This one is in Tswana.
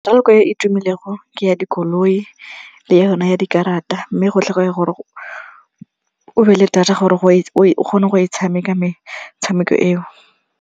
Metshameko e e tumelego ke ya dikoloi le yona ya dikarata mme go tlhokega gore o be le data gore o kgone go e tshameka metshameko eo.